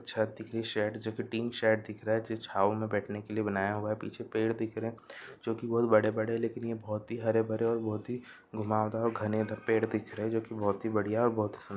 छत दिख रही है शाडे जो की तीन शाडे छाव में बैठने केलए बनाया हुआ हे पीछे पेड़ बी दिकरः हे जो बड़े बड़े लेकिन बहुत बहुतही बढ़िया बहुति सुन्दर --